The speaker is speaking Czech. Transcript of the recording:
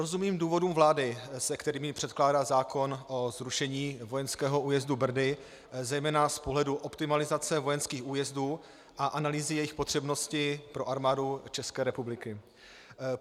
Rozumím důvodům vlády, se kterými předkládá zákon o zrušení vojenského újezdu Brdy zejména z pohledu optimalizace vojenských újezdů a analýzy jejich potřebnosti pro Armádu České republiky.